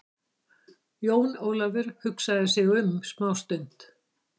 Jón Ólafur hugsaði sig um smá stund.